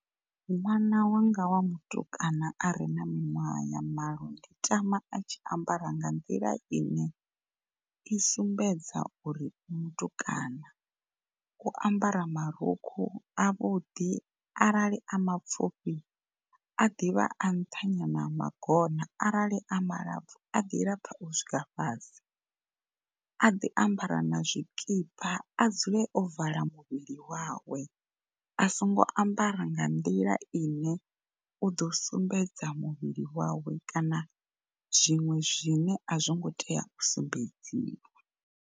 Ṅwana wanga wa mutukana are na miṅwaha ya malo ndi tama a tshi ambara nga nḓila ine i sumbedza uri u mutukana u ambara marukhu avhuḓi arali a mapfufhi a ḓivha a nṱha nyana ha magona arali a malapfu a ḓi lapfa u swika fhasi. A ḓi ambara na zwikipa, a dzule o vala muvhili wawe a songo ambara nga nḓila ine u ḓo sumbedza muvhili wawe kana zwiṅwe zwine a zwi ngo tea u sumbedziwa.